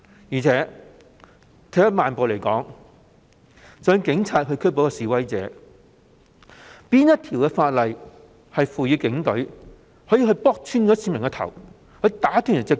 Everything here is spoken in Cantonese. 而且，退一萬步來說，即使警方要拘捕示威者，究竟哪項法例賦權他們打穿市民的頭及打斷他們的腳？